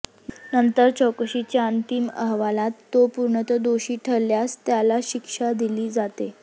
नंतर चौकशीच्या अंतिम अहवालात तो पूर्णतः दोषी ठरल्यास त्याला शिक्षा दिली जाते